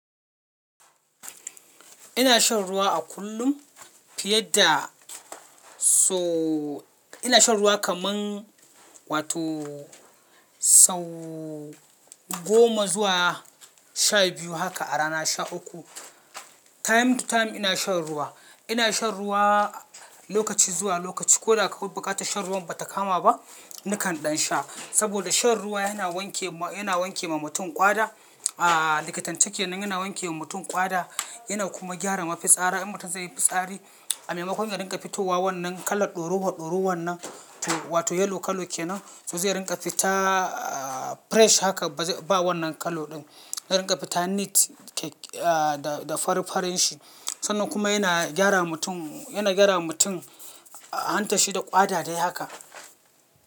Ina shan ruwa a kullum fiye da so-- ina shan ruwa kaman wato sau goma zuwa sha biyu haka a rana sha uku. Time to time ina shan ruwa. Ina shan ruwa lokaci zuwa lokaci. Ko da kamar buƙatar shan ruwan ba ta kama ba, nakan ɗan sha. Saboda shan ruwa yana wanke, yana wanke ma mutum ƙwada. A likitanci kenan yana wanke wa mutum ƙwada, yana kuma gyara mafitsari. In mutum zai yi fitsari, a maimakon ya rinƙa fitowa wannan kalar ɗorowa ɗorowar nan wato yellow kala kenan, su zai rinƙa fita fresh haka ba wannan kala ɗin. Ya rinƙa fita neat da, da farin farin shi. Sannan kuma yana gyara mutum, yana gyarawa mutum hantar shi da ƙwada dai haka.